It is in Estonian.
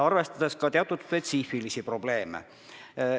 Arvestada tuleb ka teatud spetsiifilisi probleeme.